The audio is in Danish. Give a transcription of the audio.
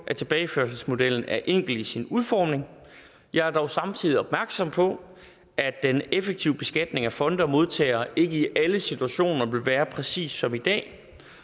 at tilbageførselsmodellen er enkel i sin udformning jeg er dog samtidig opmærksom på at den effektive beskatning af fonde og modtagere ikke i alle situationer vil være præcis som i dag